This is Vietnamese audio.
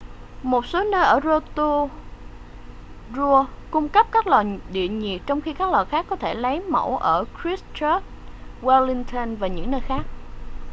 một số nơi ở rotorua cung cấp các lò địa nhiệt trong khi các lò khác có thể được lấy mẫu ở christchurch wellington và những nơi khác